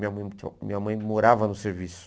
Minha mãe minha mãe morava no serviço.